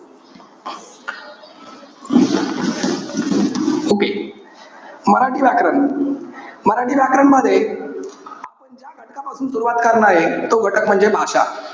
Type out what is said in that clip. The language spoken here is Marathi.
okay मराठी व्याकरण. मराठी व्याकरण मध्ये, ज्या घटकपासून सुरवात करणारे, तो घटक म्हणजे भाषा. लक्षात घ्या. भाषा.